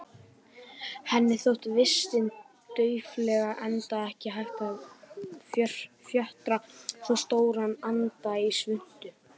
Henni þótti vistin daufleg, enda ekki hægt að fjötra svo stóran anda í svuntu.